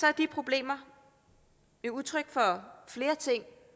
er de problemer jo udtryk for flere ting